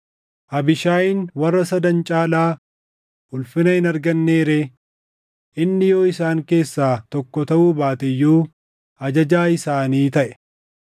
Abiishaayin warra sadan caalaa ulfina hin argannee ree? Inni yoo isaan keessaa tokko taʼuu baate iyyuu ajajaa isaanii taʼe.